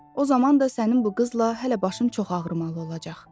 O zaman da sənin bu qızla hələ başım çox ağrımalı olacaq.